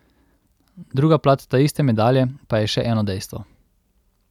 Druga plat taiste medalje pa je še eno dejstvo.